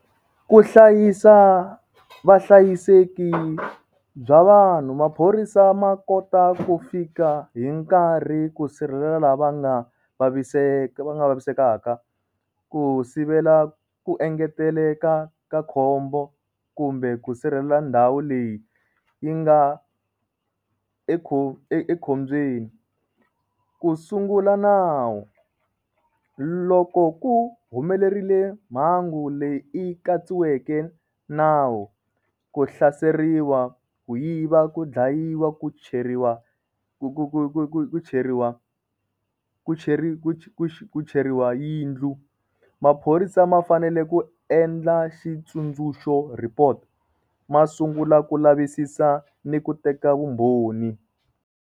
Ku hlayisa vahlayiseki bya vanhu, maphorisa ma kota ku fika hi nkarhi ku sirhelela la va nga vaviseka va nga vavisekaka ku sivela ku engeteleka ka khombo kumbe ku sirhelela ndhawu leyi yi nga ekho ekhombyeni. Ku sungula nawu loko ku humelerile mhangu leyi i katsiweke nawu ku hlaseriwa, ku yiva ku dlayiwa, ku cheriwa ku ku ku ku ku ku cheriwa ku cheri ku cheriwa yindlu maphorisa ma fanele ku endla xitsundzuxo report ma sungula ku lavisisa ni ku teka vumbhoni.